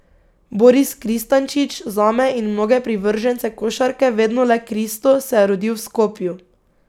Boris Kristančič, zame in mnoge privržence košarke vedno le Kristo, se je rodil v Skopju.